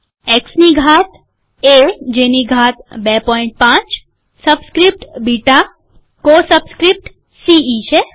એક્સની ઘાત એ જેની ઘાત ૨૫ સબસ્ક્રીપ્ટ બીટા કો સબસ્ક્રીપ્ટ સીઈ છે